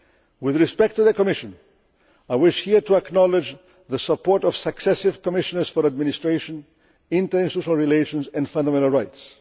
With respect to the Commission, I wish here to acknowledge the support of successive Commissioners for administration, international relations and fundamental rights.